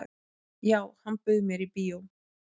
"""Já, hann bauð mér í bíó."""